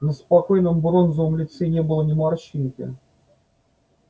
на спокойном бронзовом лице не было ни морщинки